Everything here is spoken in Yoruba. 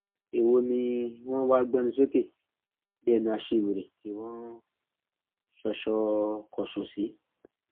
èwo ni wọn wáá gbénú sókè bíi ẹnu aṣiwèrè tí wọn ń ṣọṣọkọso sí